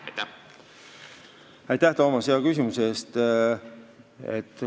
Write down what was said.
Aitäh, Toomas, hea küsimuse eest!